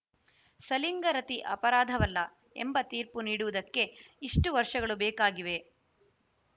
ಸಲಿಂಗರತಿ ಅಪರಾಧವಲ್ಲ ಎಂಬ ತೀರ್ಪು ನೀಡುವುದಕ್ಕೆ ಇಷ್ಟುವರ್ಷಗಳು ಬೇಕಾಗಿವೆ